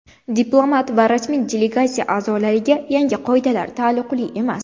Diplomat va rasmiy delegatsiya a’zolariga yangi qoidalar taalluqli emas.